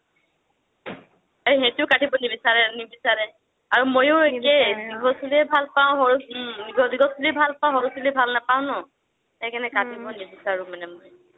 সেইটো কাটিব নিবিছাৰে, নিবিছাৰে আৰু মইও আকেই দিঘল চুলিয়ে ভাল পাও, উম দিঘল দিঘল চুলি ভাল পাও সৰু চুলি ভাল নাপাও ন সেইকাৰণে কাটিবৈ নিবিছাৰু মই